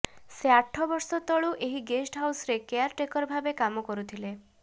ସେ ଆଠବର୍ଷ ତଳୁ ଏହି ଗେଷ୍ଟ ହାଉସରେ କେୟାରଟେକର ଭାବେ କାମ କରୁଥିଲେ